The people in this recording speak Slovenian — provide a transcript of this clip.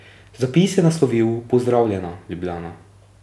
Zapis je naslovil Pozdravljena, Ljubljana.